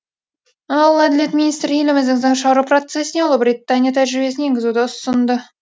ал әділет министрі еліміздің заң шығару процесіне ұлыбритания тәжірибесін енгізуді ұсынды